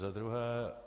Za druhé.